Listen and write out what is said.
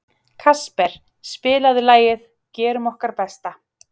Kasper, spilaðu lagið „Gerum okkar besta“.